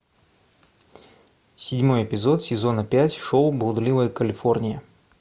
седьмой эпизод сезона пять шоу блудливая калифорния